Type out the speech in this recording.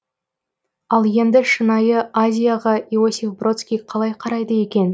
ал енді шынайы азияға иосиф бродский қалай қарады екен